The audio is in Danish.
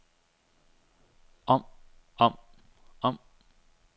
om om om